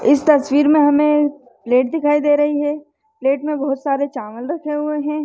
इस तस्वीर में हमें प्लेट दिखाई दे रही है प्लेट में बहुत सारे चावल रखे हुए है।